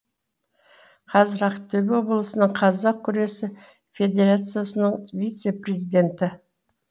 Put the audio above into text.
қазір ақтөбе облысының қазақ күресі федерациясының вице президенті